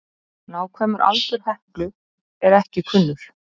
Nákvæmur aldur Heklu er ekki kunnur.